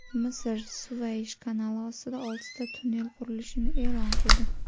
Misr Suvaysh kanali ostida oltita tunnel qurilishini e’lon qildi.